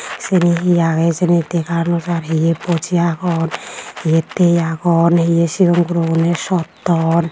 seni hi agey hijeni dega naw jar hiye boji agon hiye tiye agon hiye sigon gurogune sotton.